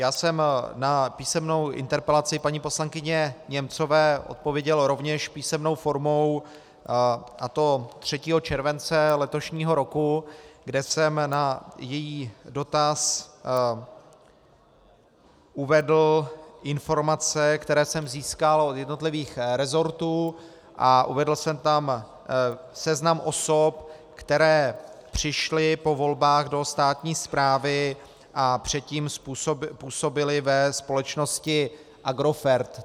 Já jsem na písemnou interpelaci paní poslankyně Němcové odpověděl rovněž písemnou formou, a to 3. července letošního roku, kde jsem na její dotaz uvedl informace, které jsem získal od jednotlivých rezortů, a uvedl jsem tam seznam osob, které přišly po volbách do státní správy a předtím působily ve společnosti Agrofert.